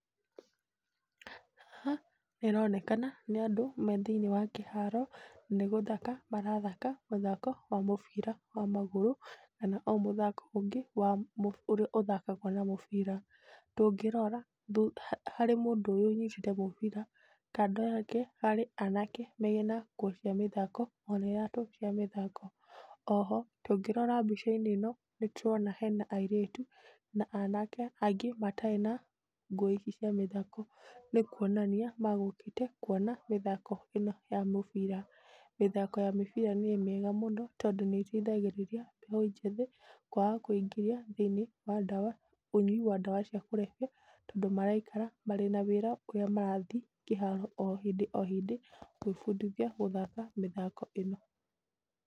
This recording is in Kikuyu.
Haha nĩ haronekana nĩ andũ methĩinĩ wa kĩharo na nĩ gũthaka marathaka mũthako wa mũbira wa magũrũ, kana mũthako ũngĩ wa ũrĩa uthakaguo na mũbira. Tũngĩrora, harĩ mũndũ ũyũ ũnyĩtĩte mũbira, kando yake harĩ anake marĩ na nguo cia mathako. Oho tũngĩrora mbica-inĩ ĩno, hena airĩtu na anake angĩ matarĩ na nguo ici cia mathako. Nĩ kuonania megũkĩte kũĩrorera mĩthako ĩno ya mũbira. Mĩthako ya mũbira nĩ ĩteithagĩrĩria anake makaga kũĩingĩria thĩinĩ wa ndawa, ũnyui wa ndawa cia kũrebia tondũ maraikara mena wĩra ũrĩa marathiĩ kĩharo o hĩndĩ o hĩndĩ gũĩbundithia mĩthako ĩno.